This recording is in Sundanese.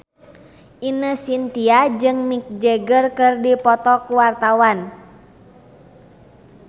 Ine Shintya jeung Mick Jagger keur dipoto ku wartawan